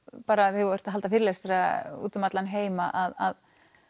þegar þú ert að halda fyrirlestra úti um allan heim að